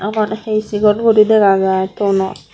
uban hi sigon guri dega jai tono.